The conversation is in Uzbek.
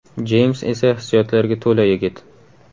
Jeyms esa hissiyotlarga to‘la yigit.